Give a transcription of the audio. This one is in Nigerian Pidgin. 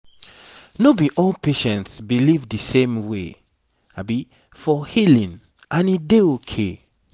no be all patients believe the same way for healing and e dey okay